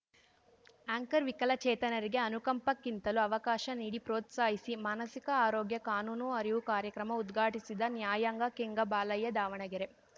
anchor ವಿಕಲಚೇತನರಿಗೆ ಅನುಕಂಪಕ್ಕಿಂತಲೂ ಅವಕಾಶ ನೀಡಿ ಪ್ರೋತ್ಸಾಹಿಸಿ ಮಾನಸಿಕ ಆರೋಗ್ಯ ಕಾನೂನು ಅರಿವು ಕಾರ್ಯಕ್ರಮ ಉದ್ಘಾಟಿಸಿದ ನ್ಯಾಯಾಂಗಕೆಂಗಬಾಲಯ್ಯ ದಾವಣಗೆರೆ